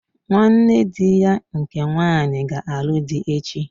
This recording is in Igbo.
Nwanne dị ya nke nwanyị ga-alụ dị echi.